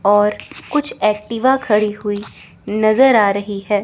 और कुछ एक्टिवा खड़ी हुई नजर आ रही है।